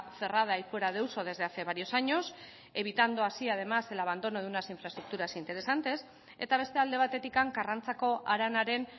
cerrada y fuera de uso desde hace varios años evitando así además el abandono de unas infraestructuras interesantes eta beste alde batetik karrantzako haranaren